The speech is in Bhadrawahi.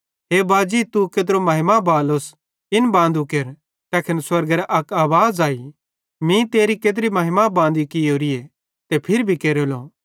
हे बाजी तू केत्रो महिमा बालोस इन बांदू केर तैखन स्वर्गेरां अक आवाज़ अई मीं तेरी केत्री महिमा बांदी कियोरीए ते फिरी भी केरेलो